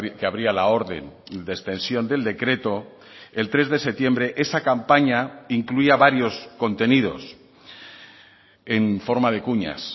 que abría la orden de extensión del decreto el tres de septiembre esa campaña incluía varios contenidos en forma de cuñas